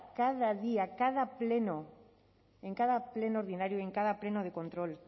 cada día cada pleno en cada pleno ordinario y en cada pleno de control